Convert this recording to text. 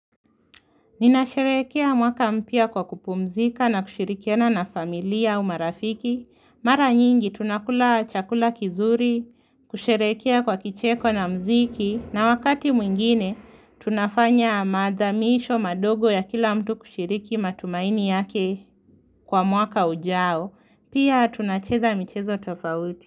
Ninasherekea mwaka mpya kwa kupumzika na kushirikiana na familiaa u marafiki. Mara nyingi tunakula chakula kizuri, kusherehekea kwa kicheko na mziki na wakati mwingine tunafanya madha misho madogo ya kila mtu kushiriki matumaini yake kwa mwaka ujao. Pia tunacheza michezo tofauti.